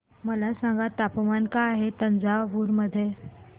मला सांगा तापमान काय आहे तंजावूर मध्ये